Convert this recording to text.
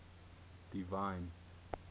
divine